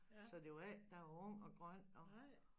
Så det var ikke da jeg var ung og grøn og